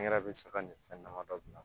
An yɛrɛ bɛ saga ni fɛn dama dɔ bila